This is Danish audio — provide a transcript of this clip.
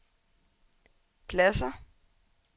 pladsér